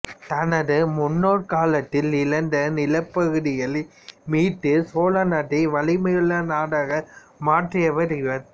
தனது முன்னோர் காலத்தில் இழந்த நிலப்பகுதிகளை மீட்டுச் சோழ நாட்டை வலிமையுள்ள நாடாக மாற்றியவர் இவர்